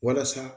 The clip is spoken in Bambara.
Walasa